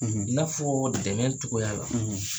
i n'a fɔ dɛmɛcogo la,